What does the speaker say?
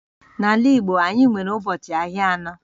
N'ala Igbo anyị nwere ụbọchị ahịa anọ